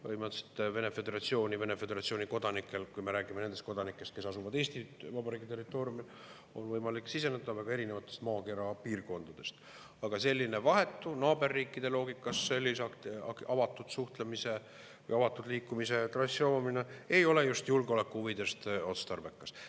Põhimõtteliselt Vene föderatsiooni kodanikel, kui me räägime nendest kodanikest, kes asuvad Eesti Vabariigi territooriumil, on võimalik siseneda väga erinevatest maakera piirkondadest, aga naaberriikide loogikas sellise vahetu, avatud liikumise trassi ei ole just julgeoleku huvides otstarbekas.